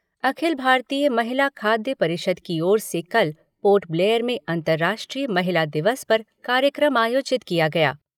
अखिल भारतीय महिला खाद्य परिषद की ओर से कल पोर्ट ब्लेयर में अंतर्राष्ट्रीय महिला दिवस पर कार्यक्रम आयोजित किया गया।